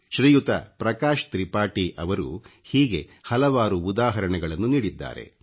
ಶ್ರೀಯುತ ಪ್ರಕಾಶ್ ತ್ರಿಪಾಠಿ ಅವರು ಹೀಗೆ ಹಲವಾರು ಉದಾಹರಣೆಗಳನ್ನು ನೀಡಿದ್ದಾರೆ